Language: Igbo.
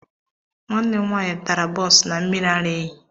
Nwanne m nwanyị tara bọns na mmiri ara ehi.